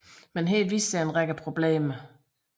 Men her viste der sig en række problemer